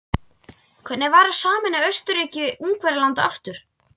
Hvernig væri að sameina Austurríki-Ungverjaland aftur?